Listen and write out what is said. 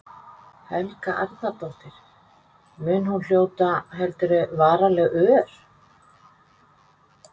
Helga Arnardóttir: Mun hún hljóta, heldurðu, varanleg ör?